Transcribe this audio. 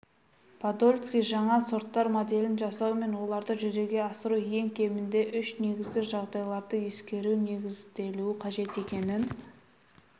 подольский жаңа сорттар моделін жасау мен оларды жүзеге асыру ең кемінде үш негізгі жағдайларды ескеруге негізделуі қажет екенін